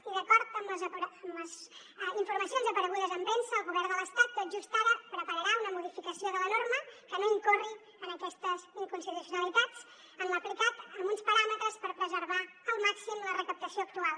i d’acord amb les informacions aparegudes en premsa el govern de l’estat tot just ara prepararà una modificació de la norma que no incorri en aquestes inconstitucionalitats en l’aplicat amb uns paràmetres per preservar al màxim la recaptació actual